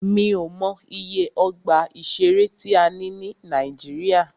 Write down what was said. Mí ò mọ iye ọgbà ìṣẹ̀rẹ́ tí a ní ní Nàíjíríà.